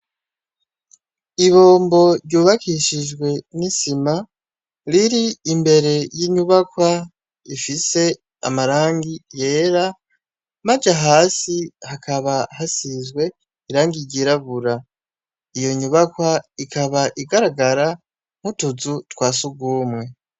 Ibombo ryubakishijwe n'isima riri imbere y'inyubakwa ifise amarangi yera maze hasi hakaba hasizwe irangigirabura iyo nyubakwa ikaba igaragara nk'utuzu twasugumwe.